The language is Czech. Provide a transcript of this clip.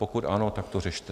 Pokud ano, tak to řešte.